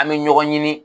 An bɛ ɲɔgɔn ɲini